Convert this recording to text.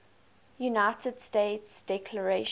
united states declaration